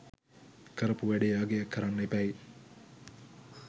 කරපු වැඩේ අගය කරන්න එපැයි.